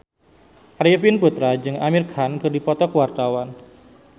Arifin Putra jeung Amir Khan keur dipoto ku wartawan